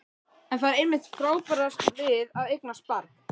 En það er einmitt það frábæra við að eignast barn.